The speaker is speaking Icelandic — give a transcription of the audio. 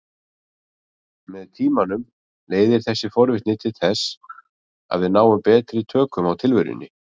Með tímanum leiðir þessi forvitni til þess að við náum betri tökum á tilverunni.